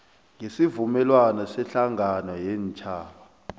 wesivumelwano sehlangano yeentjhaba